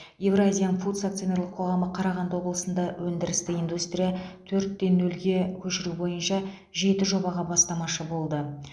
евразиан фудс акционерлік қоғамы қарағанды облысында өндірісті индустрия төрт нөлге көшіру бойынша жеті жобаға бастамашы болды